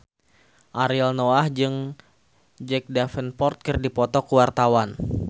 Ariel Noah jeung Jack Davenport keur dipoto ku wartawan